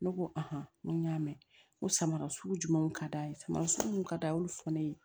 Ne ko n ko n y'a mɛn n ko samara sugu jumɛn ka d'a ye sama sugu mun ka d'a ye olu fɔ ne ye